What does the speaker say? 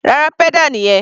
Rárá, pedal nìyẹn.